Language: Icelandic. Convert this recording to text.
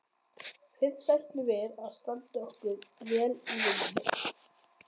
Fyrst ætlum við að standa okkur vel í vinnunni.